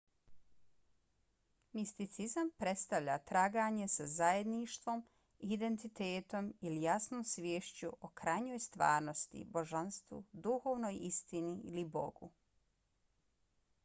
misticizam predstavlja traganje za zajedništvom identitetom ili jasnom sviješću o krajnjoj stvarnosti božanstvu duhovnoj istini ili bogu